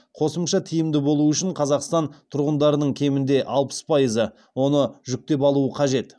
қосымша тиімді болуы үшін қазақстан тұрғындарының кемінде алпыс пайызы оны жүктеп алуы қажет